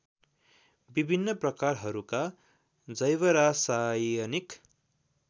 विभिन्न प्रकारकहरूका जैवरासायनिक